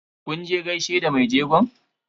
Kun je gaishe da mai jegon?